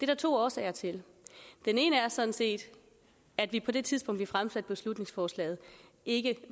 der to årsager til den ene er sådan set at vi på det tidspunkt vi fremsatte beslutningsforslaget ikke